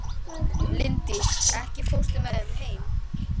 Linddís, ekki fórstu með þeim?